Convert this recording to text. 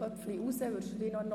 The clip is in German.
Die SP-JUSO-PSA-Fraktion